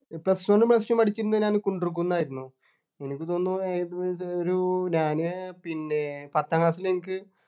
Plus one ഉം Plus two ഉം പഠിച്ചിരുന്നത് ഞൻ കുണ്ടുർ കുന്ന് ആയിരുന്നു എനിക്ക് തോന്നുന്നു ഒരു ഞാന് പിന്നെ പത്താം class ൽ എനിക്ക്